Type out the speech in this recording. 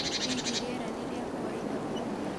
hĩhĩ rĩera ni ria kawaida ũmũthĩ